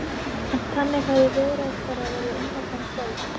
En þannig höfðu viðræður þeirra verið undanfarin kvöld.